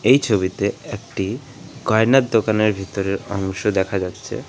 এই ছবিতে একটি গয়নার দোকানের ভিতরের অংশ দেখা যাচ্ছে।